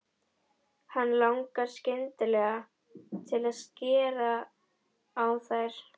Hana langar skyndilega til að skera á þær.